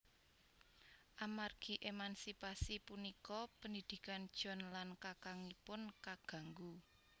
Amargi emansipasi punika pendidikan John lan kakangipun kaganggu